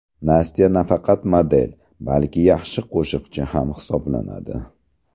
Nastya nafaqat model, balki yaxshi qo‘shiqchi ham hisoblanadi.